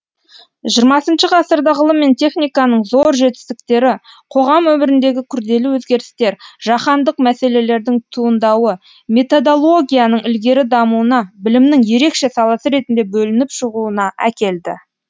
жиырмасыншы ғасырда ғылым мен техниканың зор жетістіктері қоғам өміріндегі күрделі өзгерістер жаһандық мәселелердің туындауы методологияның ілгері дамуына білімнің ерекше саласы ретінде бөлініп шығуына әкелді